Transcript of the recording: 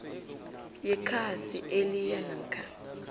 yekhasi eliyia namkha